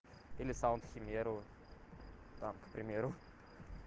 или саунд химеру там к примеру